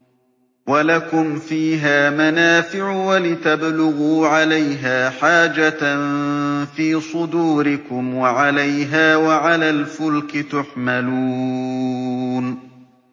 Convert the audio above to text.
وَلَكُمْ فِيهَا مَنَافِعُ وَلِتَبْلُغُوا عَلَيْهَا حَاجَةً فِي صُدُورِكُمْ وَعَلَيْهَا وَعَلَى الْفُلْكِ تُحْمَلُونَ